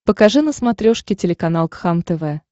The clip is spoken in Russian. покажи на смотрешке телеканал кхлм тв